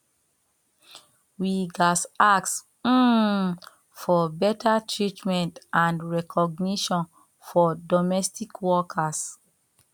we gats ask um for beta treatment and recognition for domestic workers